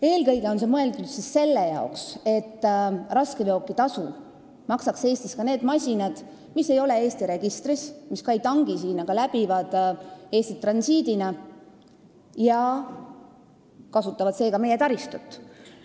Eelkõige on see mõeldud selle jaoks, et raskeveokitasu maksaksid Eestis ka need masinad, mis ei ole Eesti registris ja mis ka ei tangi siin, vaid on Eestis transiitsõidul ja kasutavad seega meie taristut.